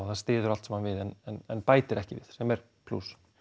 það styður allt saman við en bætir ekki við sem er plús